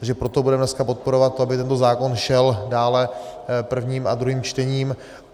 Takže proto budeme dneska podporovat to, aby tento zákon šel dále prvním a druhým čtením.